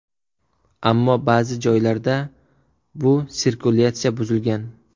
Ammo ba’zi joylarda bu sirkulyatsiya buzilgan.